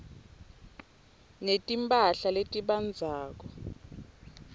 netimphahla letibandzako